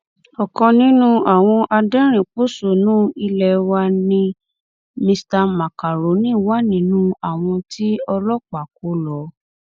ọkan nínú àwọn aderinín pọṣónú ilé wa nni mr macaroni wà nínú àwọn tí ọlọpàá kò lọ